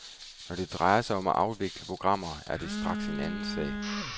Når det drejer sig om at afvikle programmer, er det straks en anden sag.